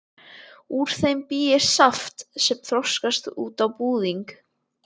Úr þeim bý ég saft sem þroskast út á búðing.